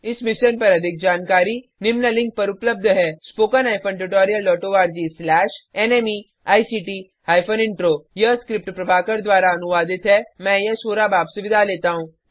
इस मिशन पर अधिक जानकारी निम्न लिंक पर उपलब्ध है spoken hyphen tutorial dot O R G slash NMECT hyphen intro यह स्क्रिप्ट प्रभाकर द्वारा अनुवादित है मैं यश वोरा अब आपसे विदा लेता हूँ